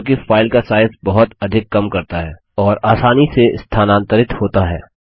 जो कि फाइल का साइज बहुत अधिक कम करता है और आसानी से स्थानांतरित होता है